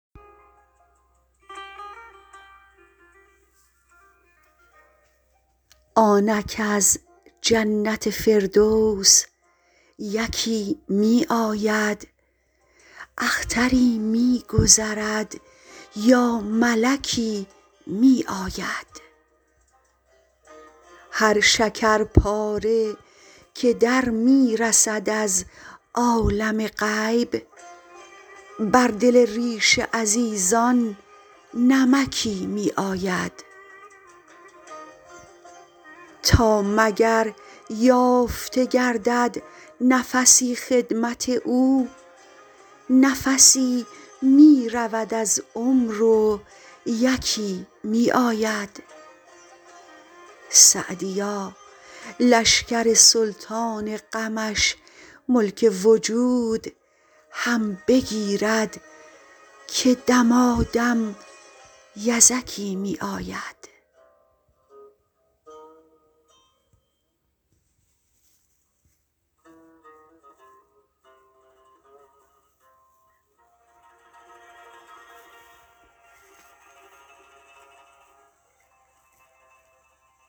آنک از جنت فردوس یکی می آید اختری می گذرد یا ملکی می آید هر شکرپاره که در می رسد از عالم غیب بر دل ریش عزیزان نمکی می آید تا مگر یافته گردد نفسی خدمت او نفسی می رود از عمر و یکی می آید سعدیا لشکر سلطان غمش ملک وجود هم بگیرد که دمادم یزکی می آید